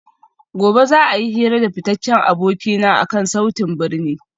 Gobe ​​za a yi hira da fitaccen abokina akan sautin birni